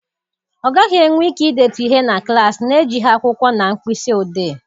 Ọ gaghị enwe ike idetu ihe na klaasị na-ejighị akwụkwọ na mkpịsị odee.